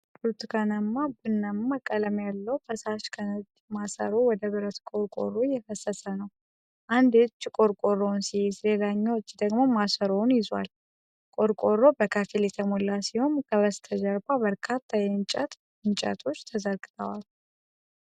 ብርቱካንማ-ቡናማ ቀለም ያለው ፈሳሽ ከነጭ ማሰሮ ወደ ብረት ቆርቆሮ እየፈሰሰ ነው። አንድ እጅ ቆርቆሮውን ሲይዝ፣ ሌላኛው እጅ ደግሞ ማሰሮውን ይዟል። ቆርቆሮው በከፊል የተሞላ ሲሆን፣ ከበስተጀርባ በርካታ የእንጨት እንጨቶች ተዘርግተዋል።